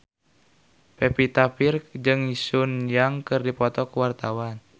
Pevita Pearce jeung Sun Yang keur dipoto ku wartawan